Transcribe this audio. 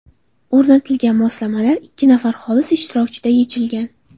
O‘rnatilgan moslamalar ikki nafar xolis ishtirokida yechilgan.